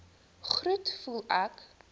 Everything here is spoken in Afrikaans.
groet voel ek